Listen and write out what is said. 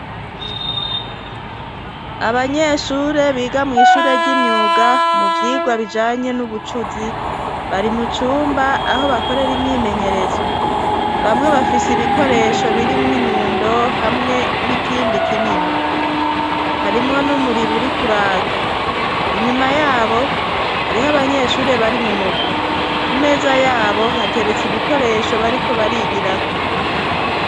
Abanyeshure biga mw'ishure ry'imyuga mu vyigwa bijanye n'ubucuzi bari mucumba aho bakorere imyimenyerezo bamwe bafise ibikoresho birimwo inyundo hamwe n'ikindi kinini harimwo n'umuriro uri kuraka inyuma yae abo hariho abanyeshuri bari mu mugwi ku meza yabo hateretse ibikoresho bariko barigirako.